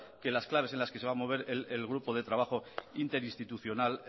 que las claves en las que se va a mover el grupo de trabajo interinstitucional